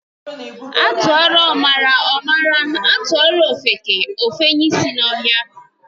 Atụọrọ ọmara, ọ mara. Atụọrọ ofeke, efenye ịsị n'ọhịa.